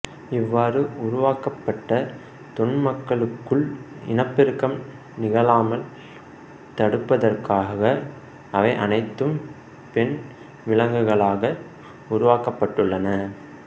இவ்வாறு உருவாக்கப்பட்ட தொன்மாக்களுக்குள் இனப்பெருக்கம் நிகழாமல் தடுப்பதற்காக அவை அனைத்தும் பெண் விலங்குகளாக உருவாக்கப்பட்டுள்ளன